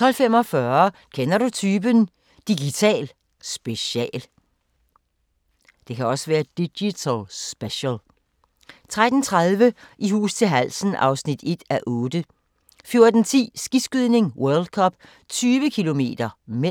12:45: Kender du typen? – Digital special 13:30: I hus til halsen (1:8) 14:10: Skiskydning: World Cup - 20 km (m)